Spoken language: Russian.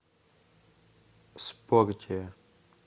спортия